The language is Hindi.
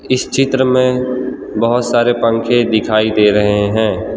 इस चित्र में बहोत सारे पंखे दिखाइ दे रहे है।